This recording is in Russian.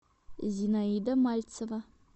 зинаида мальцева